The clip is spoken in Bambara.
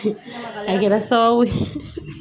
A kɛra sababu ye